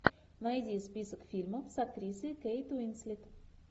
найди список фильмов с актрисой кейт уинслет